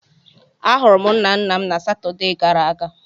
A hụrụ m nna nna m na Satọdee gara aga.